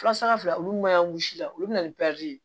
Furasa fila olu ma wusu la olu bɛ na ni ye